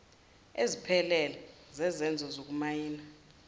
eziphelele zezenzo zokumayina